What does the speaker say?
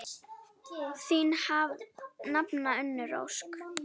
Þín nafna, Unnur Ósk.